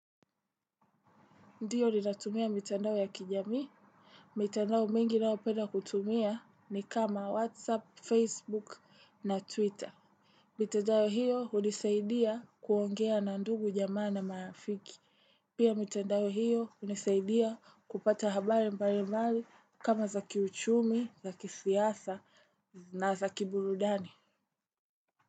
Ndio ninatumia mitandao ya kijamii? Mitandao mingi ninayopenda kutumia ni kama Whatsapp, Facebook na Twitter. Mitandao hiyo hunisaidia kuongea na ndugu jamaa na marafiki. Pia mitandao hiyo hunisaidia kupata habari mbalimbali kama za kiuchumi, za kisiasa na za kiburudani.